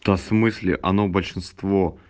в смысле оно большинство